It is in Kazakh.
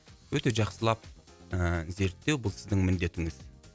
өте жақсылап ыыы зерттеу бұл сіздің міндетіңіз